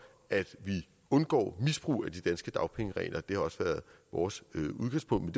at vi undgår misbrug af de danske dagpengeregler det har også været vores udgangspunkt